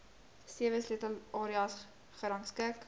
sewe sleutelareas gerangskik